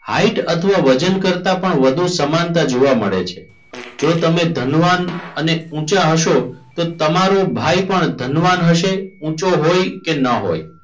Height અથવા વજન કરતાં પણ વધુ સમાનતા જોવા મળે છે. જો તમે ધનવાન અને ઉંચા હશો તો તમારો ભાઈ પણ ધનવાન હશે ઊંચો હોય ન હોય.